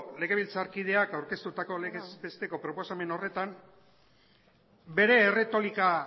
legebiltzarkideak aurkeztutako legez besteko proposamen horretan bere erretolika